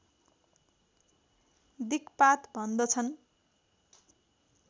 दिक्पात भन्दछन्